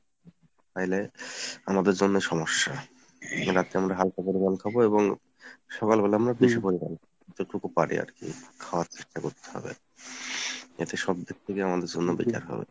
তাইলে আমাদের জন্য সমস্যা রাতে আমরা হালকা পরিমানে খাবো এবং সকাল বেলা আমরা বেশি পরিমানে খাবো , যতটুকু পারি আরকি খাবার চেষ্টা করতে হবে এতে সবদিক থেকেই আমাদের জন্য better হবে।